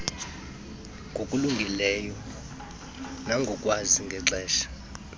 ngokulungileyo nangolwazi lexesha